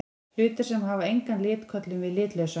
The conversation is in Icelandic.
Hlutir sem hafa engan lit köllum við litlausa.